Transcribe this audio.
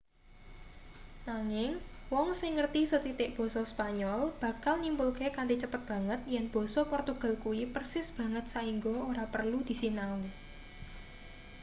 nanging wong sing ngerti sethitik basa spanyol bakal nyimpulke kanthi cepet banget yen basa portugal kuwi persis banget saingga ora perlu disinau